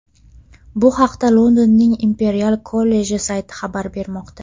Bu haqda Londonning Imperial kolleji sayti xabar bermoqda .